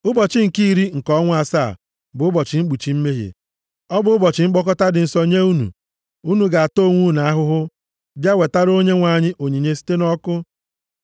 “Ụbọchị nke iri nke ọnwa asaa a bụ ụbọchị Mkpuchi Mmehie. Ọ bụ ụbọchị mkpọkọta dị nsọ nye unu. Unu ga-ata onwe unu ahụhụ bịa wetara Onyenwe anyị onyinye site nʼọkụ.